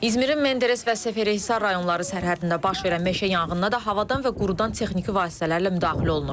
İzmirin Menderes və Seferi Hisar rayonları sərhəddində baş verən meşə yanğına da havadan və qurudan texniki vasitələrlə müdaxilə olunur.